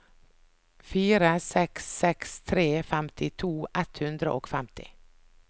fire seks seks tre femtito ett hundre og femti